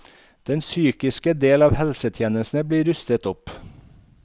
Den psykiske del av helsetjenesten blir rustet opp.